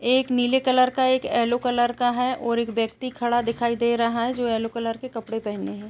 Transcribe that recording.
एक नीले कलर का एक ऐलो कलर का है और एक व्यक्ति खड़ा दिखाई दे रहा है जो ऐलो कलर के कपड़े पहने है।